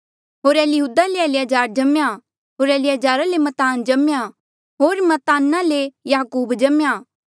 होर इलीहूदा ले एलीआजर जम्मेया होर इलीयाजारा ले मत्तान जम्मेया होर मत्ताना ले याकूब जम्मेया